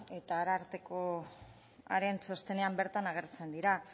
eta arartekoaren txostenean bertan agertzen direla